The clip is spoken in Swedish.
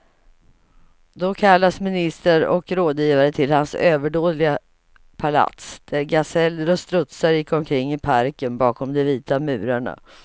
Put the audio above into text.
Då kallades ministrar och rådgivare till hans överdådiga palats, där gaseller och strutsar gick omkring i parken bakom de vita murarna.